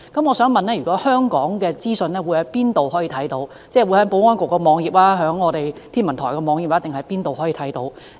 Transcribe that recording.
我想問香港可以在哪裏看到這些資訊，即在保安局網頁、天文台網頁，還是哪裏可以看到？